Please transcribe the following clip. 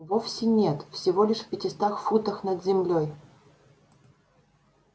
вовсе нет всего лишь в пятистах футах над землёй